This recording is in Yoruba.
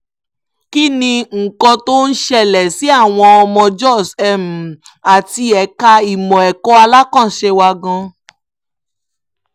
kí ni nǹkan tó ń ṣẹlẹ̀ sí àwọn ọmọ jóṣ àti ẹ̀ka ìmọ̀ ẹ̀kọ́ alákànṣe wa gan